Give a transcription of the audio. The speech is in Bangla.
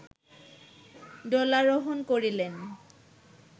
দোলারোহণ করিলেন